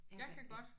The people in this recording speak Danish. Jeg kan ikke